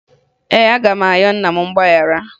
Ee, aga m ayọ nna m mgbaghara